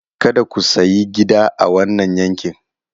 Kada ku sayi gida a wannan yankin!